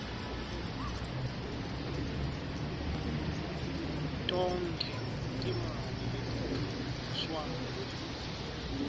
tonkhe timali letidvonswako